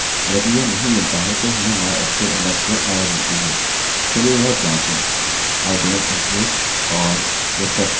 चलिए यह जाँचे i dont exist और रिफ्रेशrefresh करें और unknown database idontexist